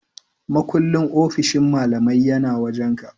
Makullin ofishin malamai yana wajan ka?